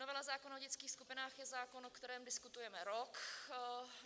Novela zákona o dětských skupinách je zákon, o kterém diskutujeme rok.